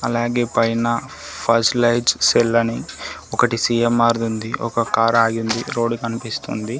అలాగే పైన ఫస్టైజ్ సెల్ అని ఒకటి సీ_ఎం_ఆర్ ఉంది ఒక కార్ ఆగింది రోడ్డు కనిపిస్తుంది.